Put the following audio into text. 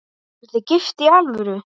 Eruð þið gift í alvöru?